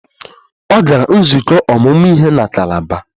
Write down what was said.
Ọ gara nzukọ ọmụmụ ihe na Kalaba